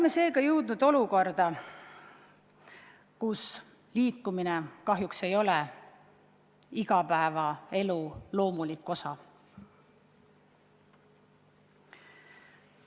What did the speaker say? Me oleme jõudnud olukorda, kus liikumine kahjuks ei ole igapäevaelu loomulik osa.